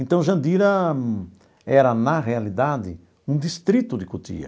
Então, Jandira era, na realidade, um distrito de Cotia.